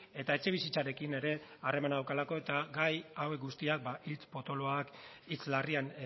eta etxebizitzarekin ere harremana daukalako eta gai hauek guztiak hitz potoloak hitz larrian